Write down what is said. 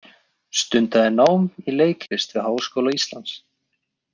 Stundaði nám í leiklist við Háskóla Ísland.